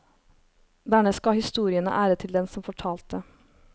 Dernest ga historiene ære til den som fortalte.